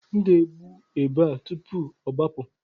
M ga-egbu ebe a tupu ọ gbapụ.